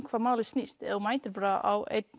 hvað málið snýst ef þú mætir bara á einn